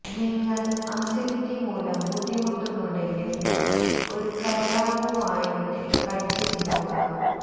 നിങ്ങള് അസിഡിറ്റി മൂലം ബുദ്ധിമുട്ടുന്നുണ്ടെങ്കില് ഒരു കരയാമ്പൂ വായിലിട്ട് കടിച്ച് പിടിക്കുക